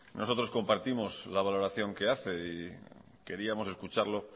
nosotros compartimos la valoración que hace y queríamos escucharlo